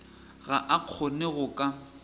ga a kgone go ka